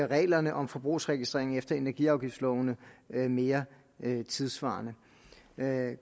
reglerne om forbrugsregistrering efter energiafgiftslovene mere mere tidssvarende